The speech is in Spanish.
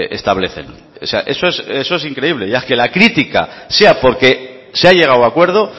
establecen o sea eso es increíble ya que la crítica sea porque se ha llegado a acuerdo